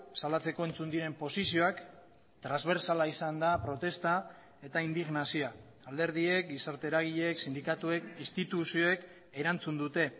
salatzeko entzun diren posizioak transbertsala izan da protesta eta indignazioa alderdiek gizarte eragileek sindikatuek instituzioek erantzun dute